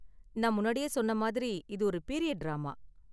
நான் முன்னாடியே சொன்ன மாதிரி, இது ஒரு பீரியட் டிராமா.